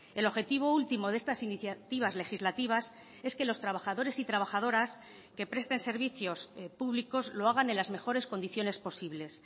el objetivo último de estas iniciativas legislativas es que los trabajadores y trabajadoras que presten servicios públicos lo hagan en las mejores condiciones posibles